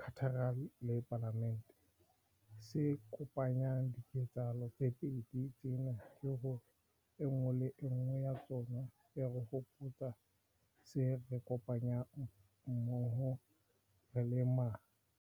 Cathedral le Palamente, se kopanyang diketsahalo tse pedi tsena ke hore e nngwe le e nngwe ya tsona e re hopotsa se re kopanyang mmoho re le ma.